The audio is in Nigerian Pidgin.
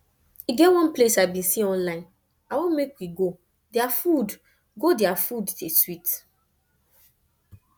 e get one place i bin see online i wan make we go dia food go dia food dey sweet